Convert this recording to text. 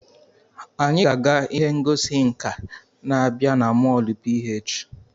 Anyị ga-aga ihe ngosi nka na-abịa na molu PH.